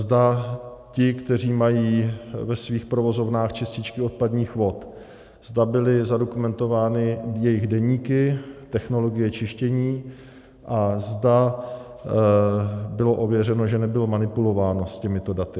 Zda ti, kteří mají ve svých provozovnách čističky odpadních vod, zda byly zadokumentovány jejich deníky, technologie čištění a zda bylo ověřeno, že nebylo manipulováno s těmito daty.